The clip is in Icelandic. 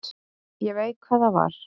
Ég veit hvað það var.